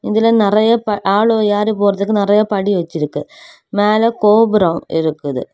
இதுல நறைய ப ஆளு ஏரி போறதுக்கு நறைய படி வெச்சிருக்கு மேல கோபுரம் இருக்குது.